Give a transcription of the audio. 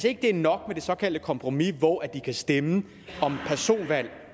ikke er nok med det såkaldte kompromis hvor de kan stemme om personvalg